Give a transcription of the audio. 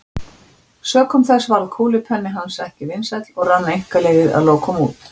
Sökum þess varð kúlupenni hans ekki vinsæll og rann einkaleyfið að lokum út.